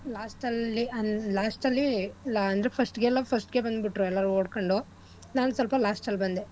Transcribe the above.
Last ಅಲ್ಲಿ last ಅಲ್ಲಿ ಅಂದ್ರೆ first ಗೆಲ್ಲೊರ್ first ಗೆ ಬಂದ್ಬಿಟ್ರು ಎಲ್ಲಾರು ಓಡ್ಕೊಂಡು ನಾನ್ ಸೊಲ್ಪ last ಅಲ್ ಬಂದೆ.